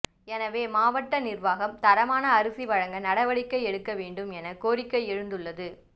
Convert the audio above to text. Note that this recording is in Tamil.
எனவே மாவட்ட நிர்வாகம் தரமான அரிசி வழங்க நடவடிக்கை எடுக்க வேண்டும் என கோரிக்கை எழுந்துள்ளது